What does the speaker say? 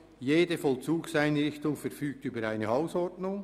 Jede Vollzugseinrichtung verfügt über eine Hausordnung».